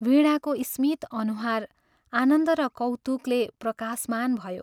" वीणाको स्मित अनुहार आनन्द र कौतुकले प्रकाशमान भयो।